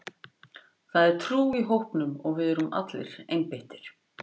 Það er trú í hópnum og við erum allir einbeittir.